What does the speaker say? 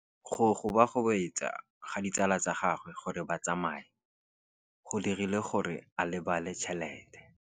Go gobagobetsa ga ditsala tsa gagwe, gore ba tsamaye go dirile gore a lebale tšhelete.